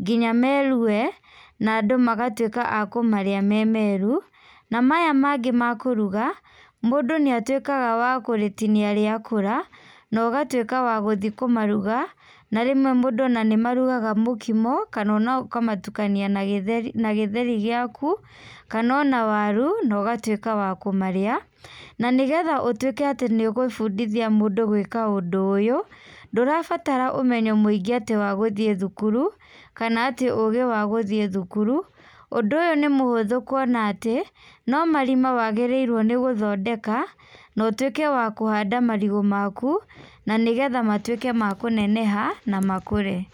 nginya merue, na andũ magatuĩka a kũmarĩa me meru, na maya mangĩ ma kũruga, mũndũ nĩ atuĩkaga wa kũrĩtinia rĩa kũra, na ũgatuĩka wa gũthiĩ kũmaruga, na rĩmwe mũndũ ona nĩmarugaga mũkimo, kana ona ũkamatukania na gĩtheri na githeri giaku, kana ona waru, nogatuĩka wa kũmarĩa, na nĩgetha ũtuĩke atĩ nĩũgũbundithia mũndũ gwĩka ũndũ ũyũ, ndũrabatara ũmenyo mũingĩ atĩ wa gũthiĩ thukuru, kana atĩ ũgĩ wa gũthiĩ thukuru, ũndũ ũyũ nĩmũhũthũ kuona atĩ, no marima wagĩrĩirwo nĩgũthondeka, no ũtuĩke wa kũhanda marigũ maku, na nĩgetha matuĩke ma kũneneha na makũre.